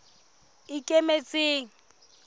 ikemetseng